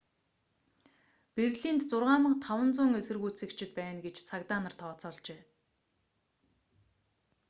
берлинд 6500 эсэргүүцэгчид байна гэж цагдаа нар тооцоолжээ